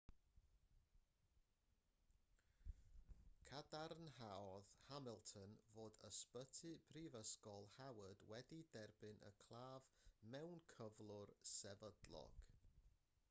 cadarnhaodd hamilton fod ysbyty prifysgol howard wedi derbyn y claf mewn cyflwr sefydlog